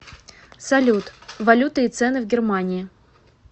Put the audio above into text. салют валюта и цены в германии